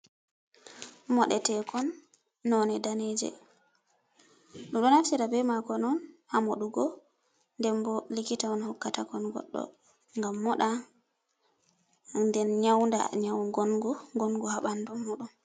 Moɗetekon noone daneeje. Ɓe ɗo naftira be maakon on haa moɗugo, nden bo likita on hokkatakon goɗɗo ngam moɗa nden nƴaunda nƴawu ngongu. Ngongu haa ɓandu muuɗum.